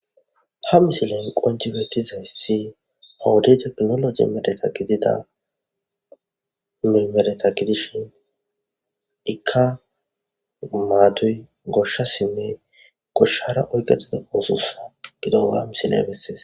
Ha misileni qoncci dizayissi ikka goshasinne goshara oyiqetida osso mashine gideyissa ha misileyi bessesi